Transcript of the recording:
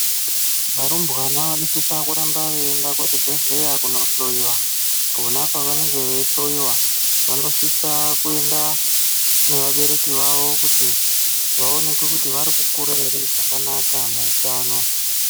Varumbwana vanosisa kuramba veyienda kuzvibhedhlera kunohloyiwa kona kwavanenge veihloya vonosise kuenda navabereki vavavo kuti vaonekwe kuti vari kukura here zvakanaka muutano.